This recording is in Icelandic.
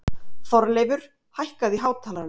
Þorleifur, hækkaðu í hátalaranum.